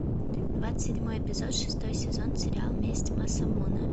двадцать седьмой эпизод шестой сезон сериал месть масамуне